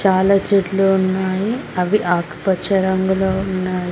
చాలా చెట్లు ఉన్నాయి అవి ఆకుపచ్చ రంగులో ఉన్నాయి.